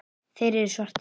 Þeir eru svartir.